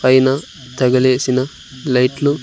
పైన తగిలేసిన లైట్లు --